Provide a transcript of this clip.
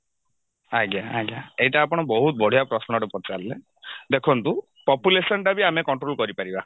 ଆଜ୍ଞା ଆଜ୍ଞା ଏଇଟା ଆପଣ ବହୁତ ବଢିଆ ପ୍ରଶ୍ନଟେ ପଚାରିଲେ ଦେଖନ୍ତୁ population ଟା ବି ଆମେ control କରିପାରିବା